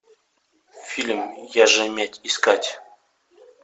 фильм я же медь искать